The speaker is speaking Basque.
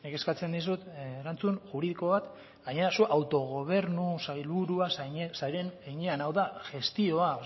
eskatzen dizut erantzun juridiko bat gainera zuk autogobernu sailburua zaren heinean hau da gestioa